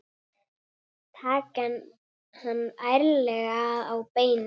Taka hann ærlega á beinið.